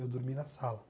Eu dormi na sala.